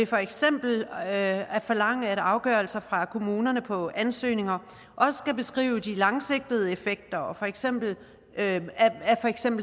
for eksempel at forlange at afgørelser fra kommunerne på ansøgninger også skal beskrive de langsigtede effekter af for eksempel